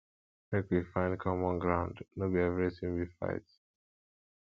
make we find common ground no be everytin be fight